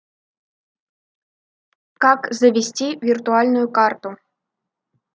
как завести виртуальную карту